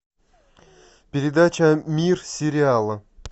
передача мир сериала